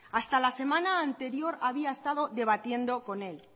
hasta la semana anterior había estado debatiendo con él